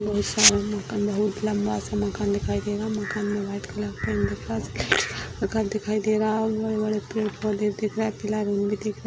बहुत सारा मकान बहुत लंबा सा मकान दिखाई दे रहा है मकान में व्हाइट कलर दिखाई दे रहा है और बड़े-बड़े पेड़-पौधे दिख रहा है और --